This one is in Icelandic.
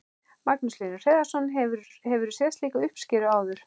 Magnús Hlynur Hreiðarsson: Hefurðu séð álíka uppskeru áður?